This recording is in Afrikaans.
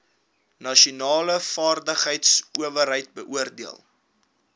nasionale vaardigheidsowerheid beoordeel